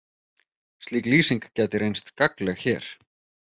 Slík lýsing gæti reynst gagnleg hér.